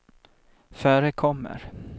förekommer